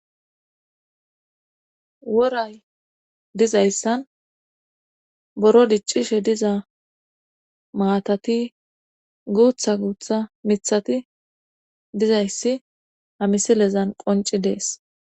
woray dizayssan boro diccishe diza maatati guutha guutha mithati dizayssi hamisilezan qonci dees